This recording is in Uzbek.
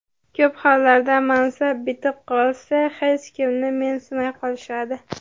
Ko‘p hollarda mansab bitib qolsa, hech kimni mensimay qolishadi.